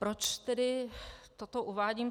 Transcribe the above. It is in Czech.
Proč tedy toto uvádím?